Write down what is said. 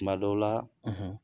Kuma dɔw la